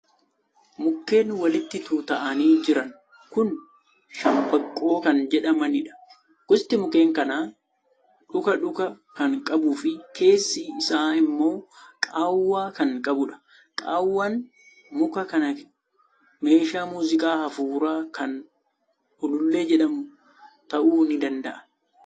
Mukkeen walitti tuutta'anii jiran kun 'Shambaqoo' kan jedhamanidha. Gosti mukeen kanaa dhuka dhuka kan qabuu fi keessi isaa immoo qaawwaa kan qabudha. Qaawwaan muka kanaa meeshaa muuziqaa hafuuraa kan Ulullee jedhamu ta'uu ni danda’a.